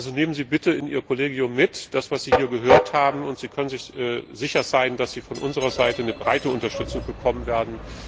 Also nehmen Sie bitte in Ihr Kollegium mit, was Sie hier gehört haben, und Sie können sich sicher sein, dass Sie in diesem Vorhaben von unserer Seite breite Unterstützung bekommen werden.